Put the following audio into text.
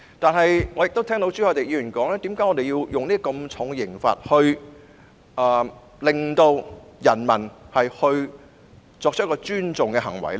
可是，我亦聽到朱凱廸議員質疑，為何要用這麼重的刑罰來令人民作出尊重國歌的行為呢？